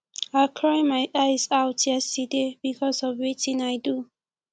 i cry my eyes out yesterday because of wetin i do